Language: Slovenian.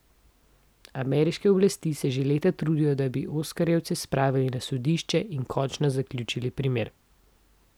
Ameriške oblasti se že leta trudijo, da bi oskarjevca spravili na sodišče in končno zaključili primer.